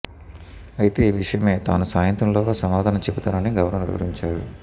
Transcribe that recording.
అయితే ఈ విషయమై తాను సాయంత్రంలోగా సమాధానం చెబుతానని గవర్నర్ వివరించారు